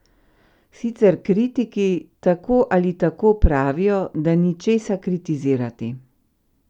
Sicer kritiki tako ali tako pravijo, da ni česa kritizirati...